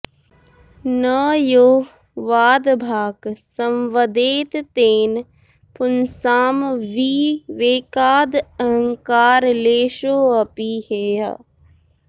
न यो वादभाक् संवदेत् तेन पुंसां विवेकादहंकारलेशोऽपि हेयः